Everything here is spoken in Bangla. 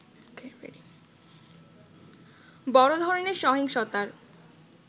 বড় ধরনের সহিংসতার